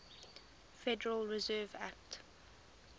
federal reserve act